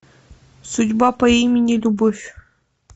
судьба по имени любовь